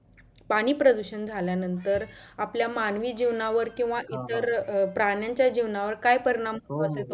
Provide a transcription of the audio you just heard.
पाणी प्रदुषण झाल्या नंतर आपल्या मानवी जीवनावर किंवा इतर प्राण्यांच्या जीवनावर काय परिणाम